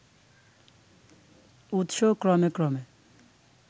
উৎস ক্রমে ক্রমে